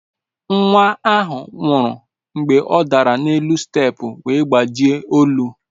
Nwa ahụ nwụrụ mgbe ọ dara n'elu steepụ wee gbajie olu.